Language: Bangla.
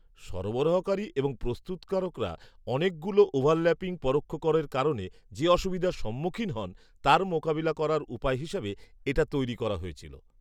সরবরাহকারী এবং প্রস্তুতকারকরা অনেকগুলো ওভারল্যাপিং পরোক্ষ করের কারণে যে অসুবিধার সম্মুখীন হন তার মোকাবিলা করার উপায় হিসেবে এটা তৈরি করা হয়েছিল।